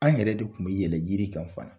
An yɛrɛ de tun bɛ yɛlɛ jiri kan .